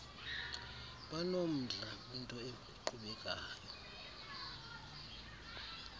banomdla kwinto eqhubekayo